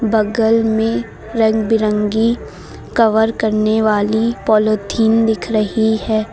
बगल में रंग बिरंगी कवर करने वाली दिख रही है।